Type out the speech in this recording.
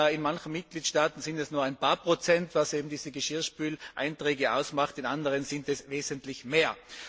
In manchen Mitgliedstaaten sind es nur ein paar Prozent, was eben diese Geschirrspüleinträge ausmacht, in anderen sind es wesentlich mehr.